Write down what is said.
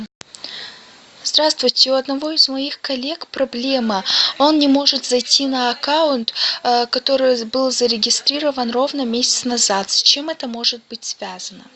здравствуйте у одного из моих коллег проблема он не может зайти на аккаунт который был зарегистрирован ровно месяц назад с чем это может быть связано